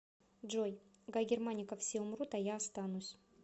джой гай германика все умрут а я останусь